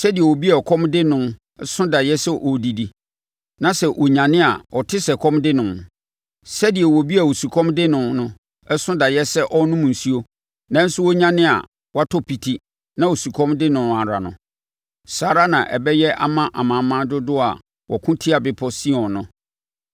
Sɛdeɛ obi a ɛkɔm de no so daeɛ sɛ ɔredidi, na sɛ ɔnyane a ɔte sɛ ɛkɔm de no; sɛdeɛ obi a osukɔm de no so daeɛ sɛ ɔrenom nsuo, nanso ɔnyane a na watɔ piti, na osukɔm de no ara no, saa ara na ɛbɛyɛ ama amanaman dodoɔ a wɔko tia Bepɔ Sion no.